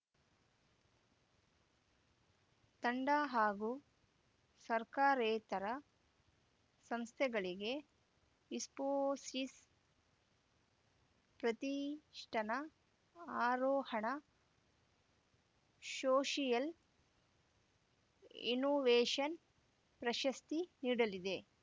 ತಂಡ ಹಾಗೂ ಸರ್ಕಾರೇತರ ಸಂಸ್ಥೆಗಳಿಗೆ ಇಸ್ಫೋಸಿಸ್‌ ಪ್ರತಿಷ್ಠಾನ ಆರೋಹಣ ಶೋಷಿಯಲ್‌ ಇನ್ನೋವೇಷನ್‌ ಪ್ರಶಸ್ತಿ ನೀಡಲಿದೆ